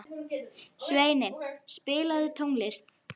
Svenni, spilaðu tónlist.